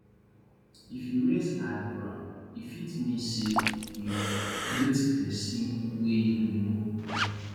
if you raise eyebrow e fit mean sey you greet pesin wey you know well